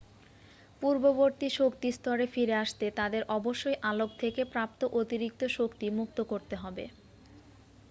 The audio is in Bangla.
পূর্ববর্তী শক্তি স্তরে ফিরে আসতে তাদের অবশ্যই আলোক থেকে প্রাপ্ত অতিরিক্ত শক্তি মুক্ত করতে হবে